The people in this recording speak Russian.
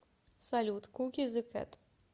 салют куки зэ кэт